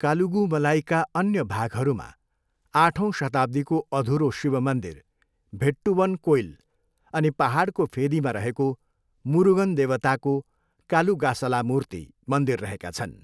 कालुगुमलाईका अन्य भागहरूमा आठौँ शताब्दीको अधूरो शिव मन्दिर, भेट्टुवन कोइल अनि पाहाडको फेदीमा रहेको मुरुगन देवताको कालुगासलामूर्ति मन्दिर रहेका छन्।